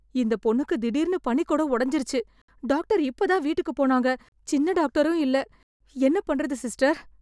இந்த பொண்ணுக்கு திடீர்ன்னு பனிக்குடம் ஒடைஞ்சிருச்சு... டாக்டர் இப்பதான் வீட்டுக்கு போனாங்க... சின்ன டாக்டரும் இல்ல. என்ன பண்றது சிஸ்டர்?